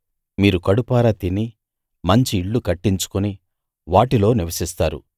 మీరు కడుపారా తిని మంచి ఇళ్ళు కట్టించుకుని వాటిలో నివసిస్తారు